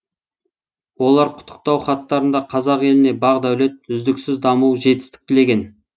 олар құттықтау хаттарында қазақ еліне бақ дәулет үздіксіз даму жетістік тілеген